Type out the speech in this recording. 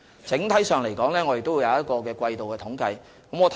整體上，當局也會發表季度統計。